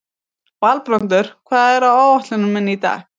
Valbrandur, hvað er á áætluninni minni í dag?